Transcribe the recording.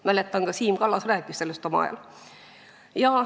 Mäletan, et ka Siim Kallas rääkis sellest omal ajal.